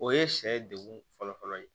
O ye sɛ ye degun fɔlɔfɔlɔ ye